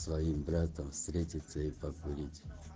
своим братом встретиться и покурить